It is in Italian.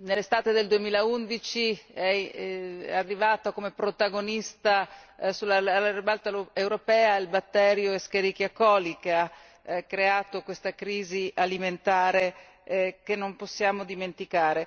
nell'estate del 2011 è arrivato come protagonista alla ribalta europea il batterio Escherichia coli che ha creato questa crisi alimentare che non possiamo dimenticare.